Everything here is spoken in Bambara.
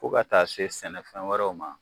Fo ka taa se sɛnɛfɛn wɛrɛw ma